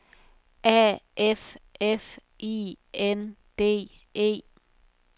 A F F I N D E